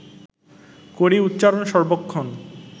করি উচ্চারণ সর্বক্ষণ